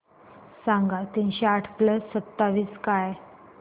सांगा तीनशे आठ प्लस सत्तावीस काय